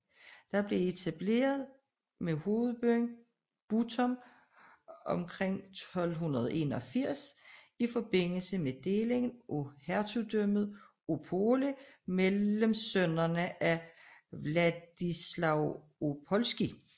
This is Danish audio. Det blev etableret med hovedbyen Bytom omkring 1281 i forbindelse med delingen af hertugdømmet Opole mellem sønnerne af Władysław Opolski